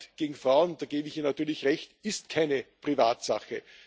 Gewalt gegen Frauen, da gebe ich Ihnen natürlich recht, ist keine Privatsache.